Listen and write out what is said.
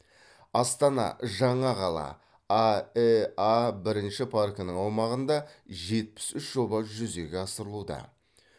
астана жаңа қала аэа бірінші паркінің аумағында жетпіс үш жоба жүзеге асырылуда